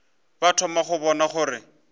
ba thoma go bona gore